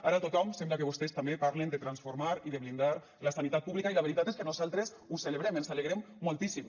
ara tothom sembla que vostès també parla de transformar i de blindar la sanitat pública i la veritat és que nosaltres ho celebrem ens n’alegrem moltíssim